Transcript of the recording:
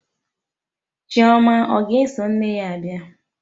Chioma ọ ga-eso nne ya bịa?